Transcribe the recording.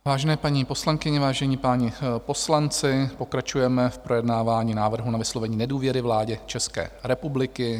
Vážené paní poslankyně, vážení páni poslanci, pokračujeme v projednávání návrhu na vyslovení nedůvěry vládě České republiky.